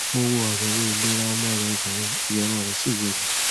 mo wo àyẹwò ìlera ọmọ rẹ obìnrin ìyọnu rẹ sì yé mi